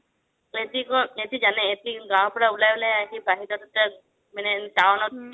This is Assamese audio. সিহতি জানে সিহতি গাওঁৰ পৰা উলাই উলাই আহি বাহিৰত এতিয়া মানে town